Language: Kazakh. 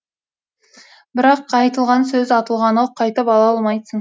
бірақ айтылған сөз атылған оқ қайтып ала алмайсың